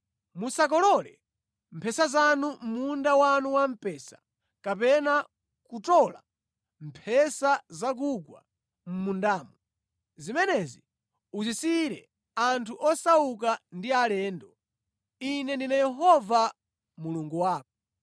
Musakolole mphesa zonse mʼmunda wanu wa mpesa kapena kutola mphesa zakugwa mʼmundamo. Zimenezi muzisiyire anthu osauka ndi alendo. Ine ndine Yehova Mulungu wako.